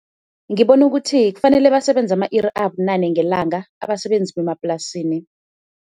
Ngibona ukuthi kufanele basebenze ama-iri abunane ngelanga abasebenzi bemaplasini.